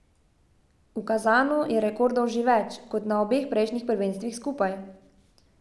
V Kazanu je rekordov že več, kot na obeh prejšnjih prvenstvih skupaj.